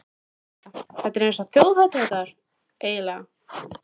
Helga: Þetta er svona eins og þjóðhátíðardagur, eiginlega?